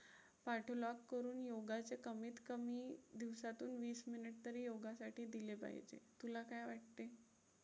करून योगाचे कमीत कमी दिवसातून वीस minute तरी योगासाठी दिले पाहिजे. तुला काय वाटतंय?